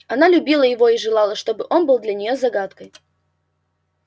она любила его и желала что бы он был для неё загадкой